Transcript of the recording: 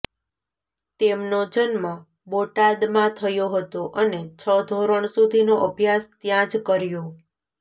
તેમનો જન્મ બોટાદમાં થયો હતો અને છ ધોરણ સુધીનો અભ્યાસ ત્યાં જ કર્યો